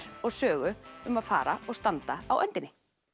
og Sögu um að fara og standa á öndinni